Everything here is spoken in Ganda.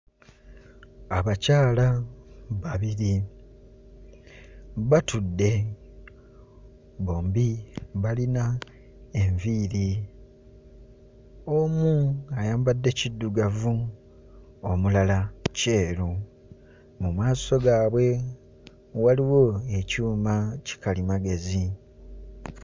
Abakyala babiri batudde bombi balina enviiri omu ayambadde kiddugavu omulala kyeru mu maaso gaabwe waliwo ekyuma kikalimagezi.